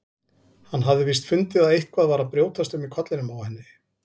Hann hafði víst fundið að eitthvað var að brjótast um í kollinum á henni.